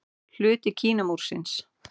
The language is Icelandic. Hluti Kínamúrsins.